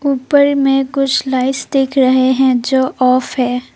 ऊपर में कुछ लाइट्स दिख रहे हैं जो ऑफ है।